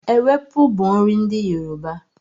Ewepu bú nri ndi Yoruba